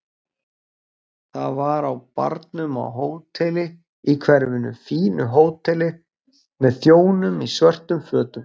Það var á barnum á hóteli í hverfinu, fínu hóteli með þjónum í svörtum fötum.